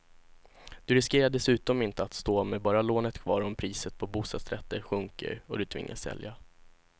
Du riskerar dessutom inte att stå med bara lånet kvar om priset på bostadsrätter sjunker och du tvingas sälja.